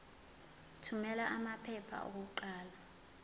thumela amaphepha okuqala